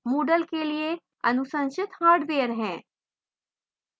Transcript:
moodle के लिए अनुशंसित हार्डवेयर हैं: